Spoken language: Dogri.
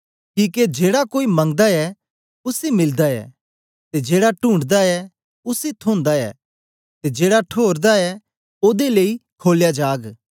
किके जेड़ा कोई मंगदा ऐ उसी मिलदा ऐ ते जेड़ा टूणढनां ऐ उसी थोंदा ऐ ते जेड़ा ठोरदा ऐ ओदे लेई खोलया जाग